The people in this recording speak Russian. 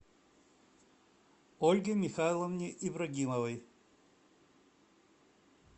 ольге михайловне ибрагимовой